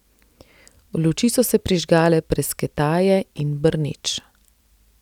Luči so se prižgale prasketaje in brneč.